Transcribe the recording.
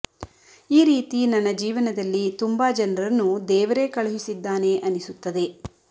ಈ ರೀತಿ ನನ್ನ ಜೀವನದಲ್ಲಿ ತುಂಬ ಜನರನ್ನು ದೇವರೇ ಕಳುಹಿಸಿದ್ದಾನೆ ಅನಿಸುತ್ತದೆ